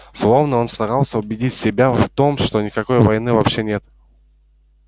словно он старался убедить себя в том что никакой войны вообще нет